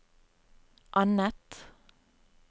annet